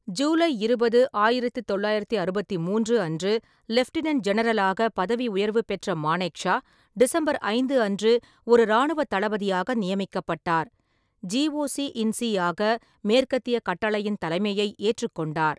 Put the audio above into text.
ஜூலை இருபது, ஆயிரத்து தொள்ளாயிரத்து அறுபத்தி மூன்று அன்று லெப்டினென்ட் ஜெனரலாக பதவி உயர்வு பெற்ற மானேக்ஷா டிசம்பர் ஐந்து அன்று ஒரு இராணுவத் தளபதியாக நியமிக்கப்பட்டார், ஜிஓசி-இன்-சி ஆக மேற்கத்திய கட்டளையின் தலைமையை ஏற்றுக்கொண்டார்.